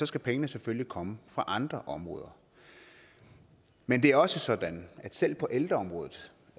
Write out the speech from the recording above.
skal pengene selvfølgelig komme fra andre områder men det er også sådan at selv på ældreområdet